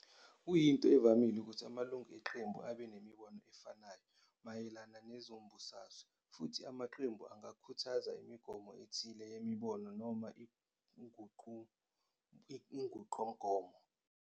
Kuyinto evamile ukuthi amalungu eqembu abe imibono efanayo mayelana nezombusazwe, futhi amaqembu angakhuthaza imigomo ethile yemibono noma inqubomgomo.